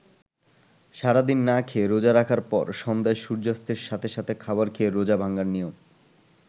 সারাদিন না খেয়ে রোজা রাখার পর সন্ধ্যায় সূর্যাস্তের সাথে সাথে খাবার খেয়ে রোজা ভাঙ্গার নিয়ম।